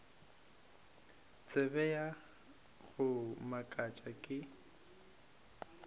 taba ya go makatša ke